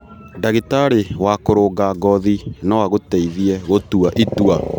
Ndagĩtarĩ wa kũrũnga ngothi no agũteithie gũtua itua.